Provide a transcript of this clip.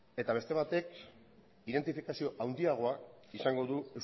eta beste batek identifikazio handiagoa izango du